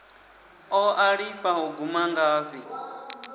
o ṱalifha u guma ngafhi